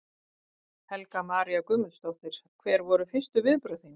Helga María Guðmundsdóttir: Hver voru fyrstu viðbrögð þín?